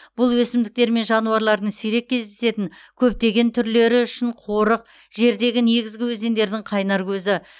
бұл өсімдіктер мен жануарлардың сирек кездесетін көптеген түрлері үшін қорық жердегі негізгі өзендердің қайнар көзі